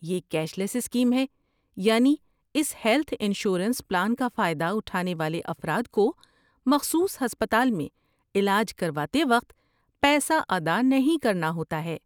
یہ cashless scheme ہے، یعنی اس ہیلتھ انشورنس پلان کا فائدہ اٹھانے والے افراد کو مخصوص ہسپتال میں علاج کرواتے وقت پیسہ ادا نہیں کرنا ہوتا ہے۔